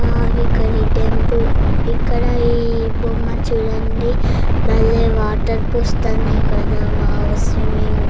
వో ఇక్కడ ఈ టెంపుల్ ఇక్కడ ఈ బొమ్మ చూడండీ బలే వాటర్ పోస్తున్నాయి కదా వో స్విమ్మింగ్ --